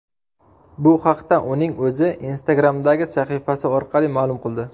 Bu haqda uning o‘zi Instagram’dagi sahifasi orqali ma’lum qildi .